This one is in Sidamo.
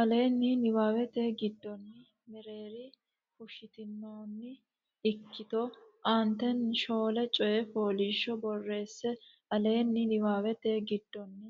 Aleenni niwaawete giddonni Mereeri fushshitinoonni ikkito aantenni shoole coyi foliishsho borreesse Aleenni niwaawete giddonni